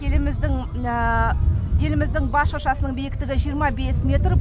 еліміздің еліміздің бас шыршасының биіктігі жиырма бес метр